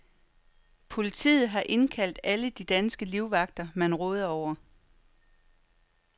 Politiet har indkaldt alle de danske livvagter, man råder over.